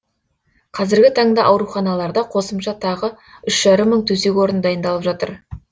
қазіргі таңда ауруханаларда қосымша тағы үш жарым мың төсек орын дайындалып жатыр